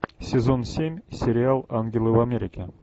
сезон семь сериал ангелы в америке